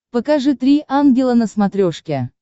покажи три ангела на смотрешке